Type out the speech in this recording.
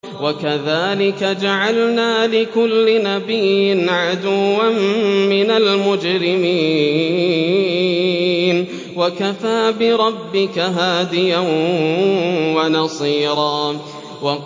وَكَذَٰلِكَ جَعَلْنَا لِكُلِّ نَبِيٍّ عَدُوًّا مِّنَ الْمُجْرِمِينَ ۗ وَكَفَىٰ بِرَبِّكَ هَادِيًا وَنَصِيرًا